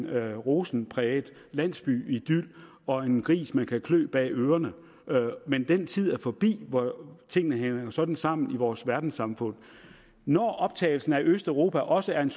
af rosenrød landsbyidyl og en gris man kunne klø bag ørerne men den tid er forbi hvor tingene hang sådan sammen i vores verdenssamfund når optagelsen af østeuropa også er en